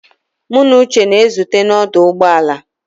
Mụ na Uche na-ezute na ọdụ ụgbọ ala.